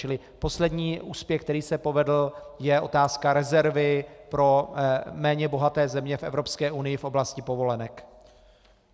Čili poslední úspěch, který se povedl, je otázka rezervy pro méně bohaté země v Evropské unii v oblasti povolenek.